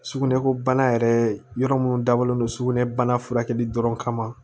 Sugunɛko bana yɛrɛ yɔrɔ minnu dabɔlen don sugunɛbana furakɛli dɔrɔn kama